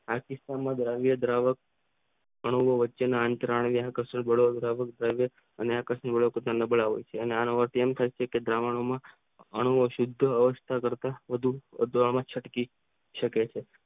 આર્થીકતા માં દ્રવ્ય દ્રાવક અણુ ઓ વચ્ચેના આંતર આણ્વીય જોડવામાં અને આ કાંસુ લબડાવે છે અને આ આણ્વીય દ્રાવણો માં અણુઓ સીધો ઓ માં છટકી શકે છે.